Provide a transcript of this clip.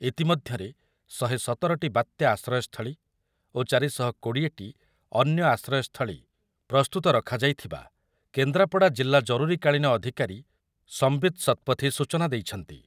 ଇତିମଧ୍ୟରେ ଶହେ ସତର ଟି ବାତ୍ୟା ଆଶ୍ରୟସ୍ଥଳୀ ଓ ଚାରି ଶହ କୋଡି଼ଏ ଟି ଅନ୍ୟ ଆଶ୍ରୟସ୍ଥଳୀ ପ୍ରସ୍ତୁତ ରଖାଯାଇଥିବା କେନ୍ଦ୍ରାପଡ଼ା ଜିଲ୍ଲା ଜରୁରୀକାଳୀନ ଅଧିକାରୀ ସମ୍ବିତ୍ ଶତପଥୀ ସୂଚନା ଦେଇଛନ୍ତି ।